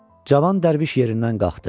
Cavan Dərviş yerindən qalxdı.